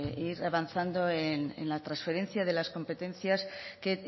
ir avanzando en la transferencia de las competencias que